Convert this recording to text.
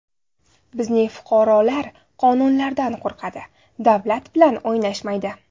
Bizning fuqarolar qonunlardan qo‘rqadi, davlat bilan o‘ynashmaydi.